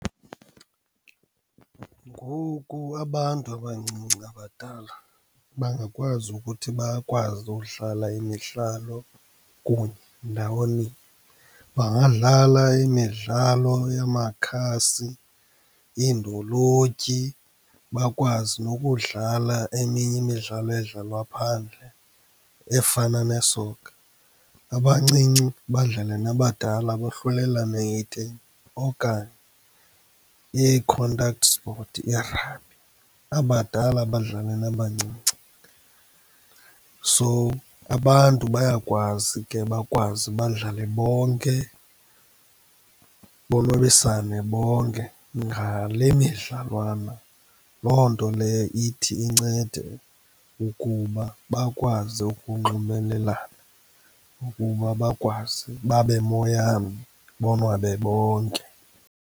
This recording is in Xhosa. Ngoku abantu abancinci nabadala bangakwazi ukuthi bakwazi udlala imidlalo kunye ndaweninye. Bangadlala imidlalo yamakhasi, iindolotyi, bakwazi nokudlala eminye imidlalo edlalwa phandle efana nesoka. Abancinci badlale nabadala bohlulelane ngetimu, okanye ii-contact sport, i-rugby, abadala badlale nabancinci. So, abantu bayakwazi ke bakwazi badlale bonke, bonwabisane bonke ngale midlalwana. Loo nto leyo ithi incede ukuba bakwazi ukunxumelelana, ukuba bakwazi babe moyamnye, bonwabe bonke.